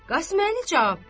Qasıməli cavab verdi: